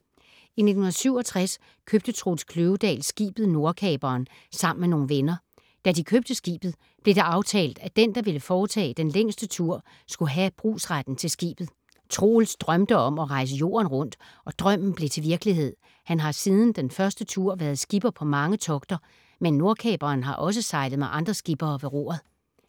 I 1967 købte Troels Kløvedal skibet Nordkaperen sammen med nogle venner. Da de købte skibet, blev det aftalt, at den, der ville foretage den længste tur, skulle have brugsretten til skibet. Troels drømte om at rejse jorden rundt, og drømmen blev til virkelighed. Han har siden den første tur været skipper på mange togter, men Nordkaperen har også sejlet med andre skippere ved roret.